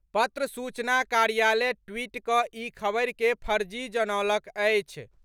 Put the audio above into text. पत्र सूचना कार्यालय ट्वीट कऽ ई खबर के फर्जी जनौलक अछि।